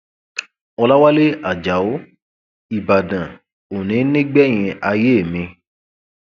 ọlàwálẹ ajáò ìbàdàn òní nígbẹyìn ayé mi